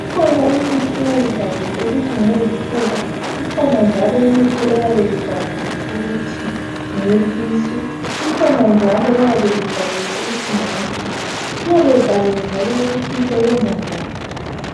.Ikhona imithi eyabe ibhaliwe ukuthi ngeyezifuba .Ikhona njalo imithi eyabe ibhaliwe ukuthi ngeyesisu .Ikhona njalo eyabe ibhaliwe ukuthi ngeyekhanda .Iyabe ibhaliwe njalo ukuthi isebenza njani.